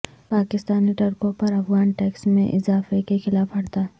پاکستانی ٹرکوں پر افغان ٹیکس میں اضافے کے خلاف ہڑتال